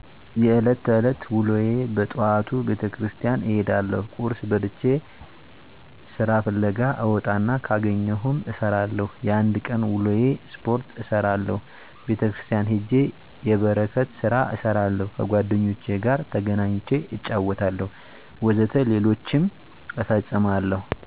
የእለት ተዕለት ወሎዬ በጠዋቱ ቤተክርስቲያን እሄዳለሁ ቁርስ በልቼ ስራ ፍለጋ እወጣና ካገኘሁም እሰራለሁ የአንድ ቀን ውሎዬ ስፖርት እሰራለሁ ቤተክርስቲያን ሄጄ የበረከት ስራ እሰራለሁ ከጓደኞቼ ጋር ተገናኝቼ እጫወታለሁ ወዘተ ሌሎችም እፈጽማለሁ።